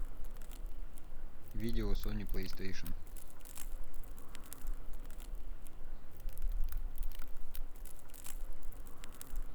видео сони плейстейшен